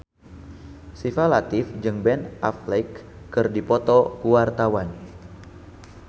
Syifa Latief jeung Ben Affleck keur dipoto ku wartawan